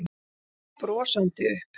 Ég stóð brosandi upp.